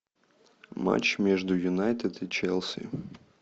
матч между юнайтед и челси